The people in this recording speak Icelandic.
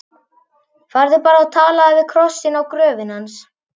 Farðu bara og talaðu við krossinn á gröfinni hans.